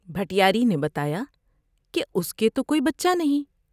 بھٹیاری نے بتایا کہ اس کے تو کوئی بچہ نہیں ۔